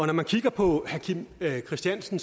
når man kigger på herre kim christiansen